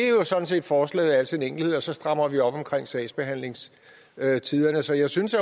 er sådan set forslaget i al sin enkelhed og så strammer vi op på sagsbehandlingstiderne så jeg synes